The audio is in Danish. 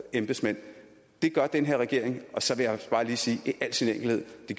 embedsmænd det gør den her regering og så vil jeg bare lige sige i al sin enkelhed at